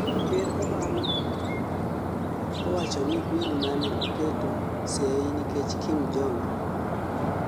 Ker Obama owachoni bil mane oketo seyi nikech Kim Jong